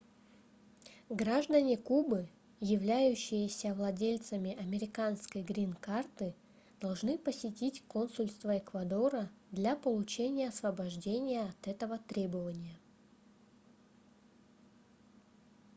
граждане кубы являющиеся владельцами американской грин-карты должны посетить консульство эквадора для получения освобождения от этого требования